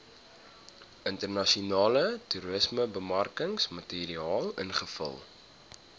internasionale toerismebemarkingsmateriaal invul